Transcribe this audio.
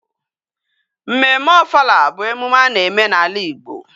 Mmemme ofala bu emume ana eme na ala Igbo